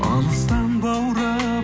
алыстан баурап